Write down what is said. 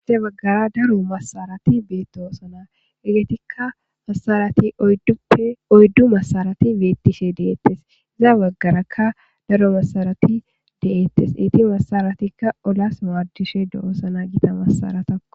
Iza baggara daro massareti deyosona. Hegetika massarati oyidupe oyidu massarati betishe detesi iza bagaraka oyidu massarati dosona masaratika oolasi madosona